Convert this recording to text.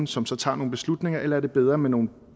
som så tager nogle beslutninger eller er bedre med nogle